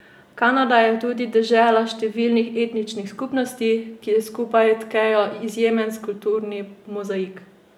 Kanada je tudi dežela številnih etničnih skupnosti, ki skupaj tkejo izjemen kulturni mozaik.